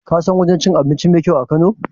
Ka san wajen cin abinci mai kyau a kano?